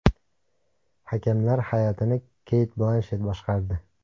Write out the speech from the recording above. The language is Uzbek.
Hakamlar hay’atini Keyt Blanshet boshqardi.